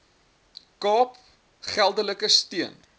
kaap geldelike steun